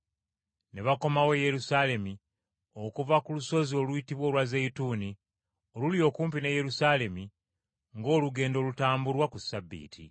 Ne bakomawo e Yerusaalemi okuva ku lusozi oluyitibwa olwa Zeyituuni, oluli okumpi ne Yerusaalemi, ng’olugendo olutambulwa ku Ssabbiiti.